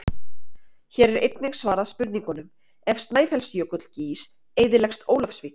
Hér er einnig svarað spurningunum: Ef Snæfellsjökull gýs eyðileggst Ólafsvík?